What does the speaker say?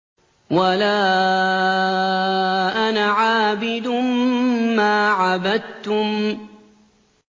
وَلَا أَنَا عَابِدٌ مَّا عَبَدتُّمْ